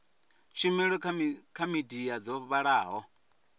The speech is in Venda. tshumelo dza midia dzo vhalaho